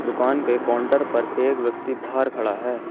दुकान पे काउंटर पर एक व्यक्ति बाहर खड़ा है।